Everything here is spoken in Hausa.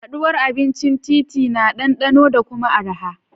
Haɗuwar abincin titi na ɗanɗano da kuma araha.